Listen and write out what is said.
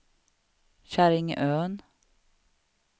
Käringön